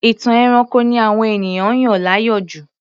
Ìtàn ẹranko ni àwọn ènìyàn yàn láàyò jù